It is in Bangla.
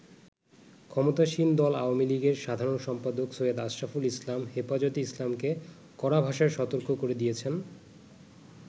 ক্ষমতাসীন দল আওয়ামী লীগের সাধারণ সম্পাদক সৈয়দ আশরাফুল ইসলাম হেফাজতে ইসলামকে কড়া ভাষায় সতর্ক করে দিয়েছেন।